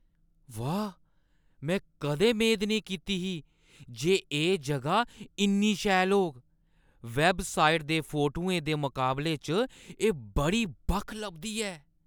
वाह् ! में कदें मेद नेईं कीती ही जे एह् जगह इन्नी शैल होग। वैबसाइट दे फोटुएं दे मकाबले च एह् बड़ी बक्ख लभदी ऐ।